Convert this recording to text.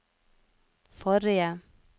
forrige